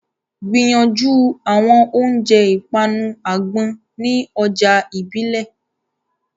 Gbìyànjú àwọn oúnjẹ ìpanu àgbọn ní ọjà ìbílẹ̀.